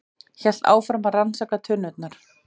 Hélt áfram að rannsaka tunnurnar.